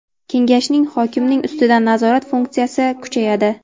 Kengashning hokimning ustidan nazorat funksiyasi kuchayadi.